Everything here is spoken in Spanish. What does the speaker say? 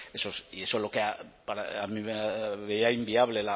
pues eso y es lo que inviable